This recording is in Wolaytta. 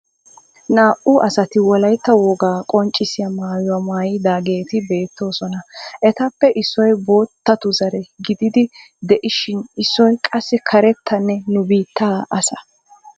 Naa"u asati wolayitta wogaa qonccissiya maayuwa maayidaageeti beettoosona. Etappe issoy boottatu zare gididi de"ishin issoy qassi karettanne nu biitta asa.